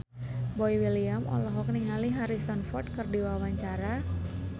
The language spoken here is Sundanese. Boy William olohok ningali Harrison Ford keur diwawancara